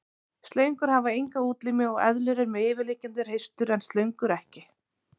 Slöngur hafa enga útlimi og eðlur eru með yfirliggjandi hreistur en slöngur ekki.